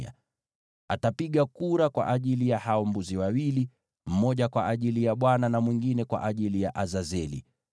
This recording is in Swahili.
Aroni atapiga kura kwa ajili ya hao mbuzi wawili, mmoja kwa ajili ya Bwana na mwingine kwa ajili ya kubebeshwa dhambi.